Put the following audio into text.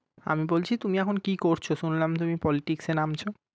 আমি বলছি তুমি এখন কি করছো? শুনলাম তুমি politics এ নামছো